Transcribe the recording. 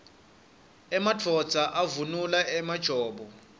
emadvodza avunula emajobo